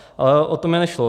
Ale o to mi nešlo.